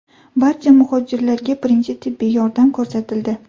Barcha muhojirlarga birinchi tibbiy yordam ko‘rsatildi.